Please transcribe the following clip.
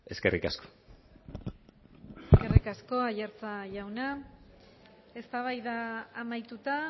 eskerrik asko eskerrik asko aiartza jauna eztabaida amaituta